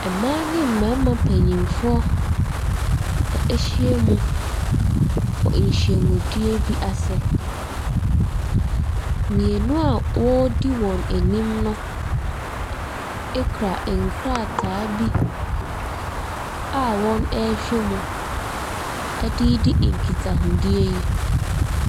Mmaa ne mmarima mpanimfoɔ ahyiam wɔ nhyiamudeɛ bi ase. Mmienu a wɔdi wɔn anim no kura nkrataa bi a wɔrehwɛ mu de redi nkitahodie.